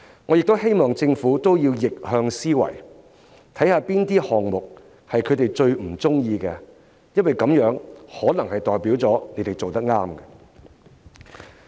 我也希望政府用逆向思維，看看哪些項目是他們最不喜歡的，因為它們可能代表政府做對了。